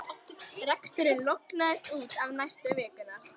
Reksturinn lognaðist út af næstu vikurnar.